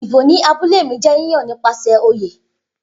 Idibo ni abule mi jẹ yiyan nipasẹ oye